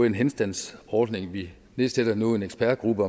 en henstandsordning vi nedsætter nu en ekspertgruppe